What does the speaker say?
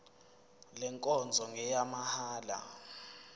le nkonzo ngeyamahala